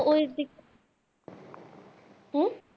উহ